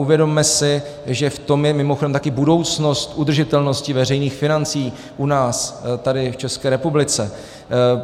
Uvědomme si, že v tom je mimochodem také budoucnost udržitelnosti veřejných financí u nás, tady v České republice.